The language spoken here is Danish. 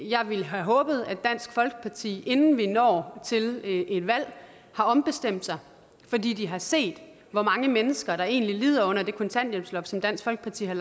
jeg ville have håbet at dansk folkeparti inden vi når til et valg har ombestemt sig fordi de har set hvor mange mennesker der egentlig lider under det kontanthjælpsloft som dansk folkeparti har